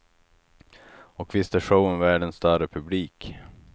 Och visst är showen värd en större publik.